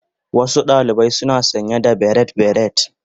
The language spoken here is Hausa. Wasu ɗalibai suna sanye da barrate beret.